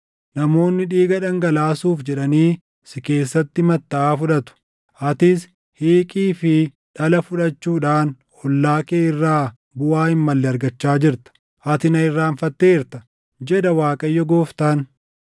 Namoonni dhiiga dhangalaasuuf jedhanii si keessatti mattaʼaa fudhatu; atis hiiqii fi dhala fudhachuudhaan ollaa kee irraa buʼaa hin malle argachaa jirta. Ati na irraanfatteerta, jedha Waaqayyo Gooftaan.